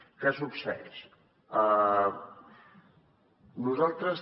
què succeeix nosaltres